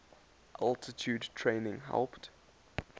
altitude training helped